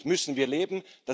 Damit müssen wir leben.